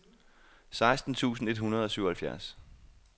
seksten tusind et hundrede og syvoghalvfjerds